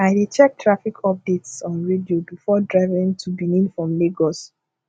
i dey check traffic updates on radio before driving to benin from lagos